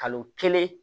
Kalo kelen